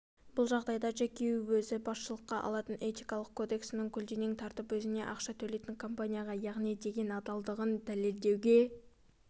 бұл жағдайда джеки өзі басшылыққа алатын этикалық кодексін көлденең тартып өзіне ақша төлейтін компанияға яғни деген адалдығын дәлелдеуге